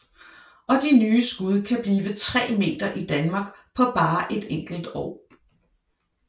Og de nye skud kan blive 3 meter i Danmark på bare et enkelt år